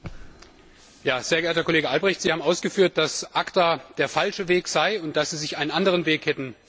Sehr geehrter Herr Kollege Albrecht, Sie haben ausgeführt, dass ACTA der falsche Weg sei und dass Sie sich einen anderen Weg hätten vorstellen können.